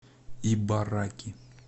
ибараки